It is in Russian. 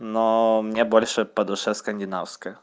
но мне больше по душе скандинавская